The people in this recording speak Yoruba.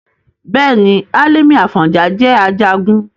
Bẹ́ẹ̀ni, Hálímì Àfọ̀njá jẹ́ Ajagun